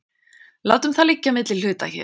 Látum það liggja á milli hluta hér.